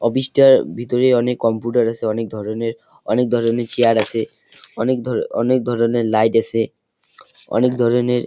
office -টার ভিতরে অনেক কম্পিউটার আছে অনেক ধরনের অনেক ধরনের চেয়ার আছে অনেক ধর অনেক ধরনের লাইট আছে অনেক ধরনের--